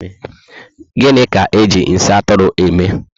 Gịnị ka eji nsị Atụrụ eme?